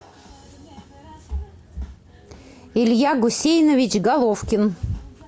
илья гусейнович головкин